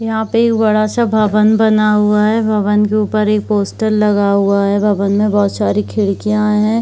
यहां पर एक बड़ा सा भवन बना हुआ है भवन के ऊपर एक पोस्टर लगा हुआ है भवन में बहुत सारी खिड़कियां है।